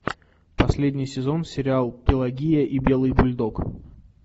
последний сезон сериал пелагея и белый бульдог